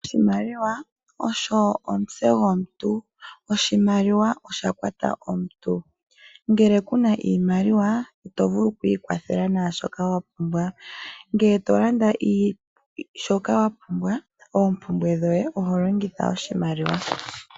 Oshimaliwa osho omutse gwomuntu. Oshimaliwa osha kwata omuntu. Ngele ku na iimaliwa ito vulu okwiikwathela naashoka wa pumbwa. Ngele to landa shoka wa pumbwa, oompumbwe dhoye oho longitha oshimaliwa.